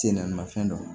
Sen namafɛn dɔ ye